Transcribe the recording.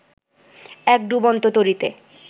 এক ডুবন্ত তরীতে